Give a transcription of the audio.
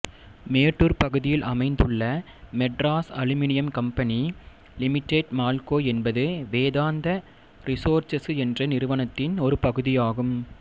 மேட்டூர் பகுதியில் அமைந்துள்ள Madras aluminium company limited MALCO என்பது வேதாந்தா ரிசோர்செசு என்ற நிறுவனத்தின் ஒரு பகுதியாகும்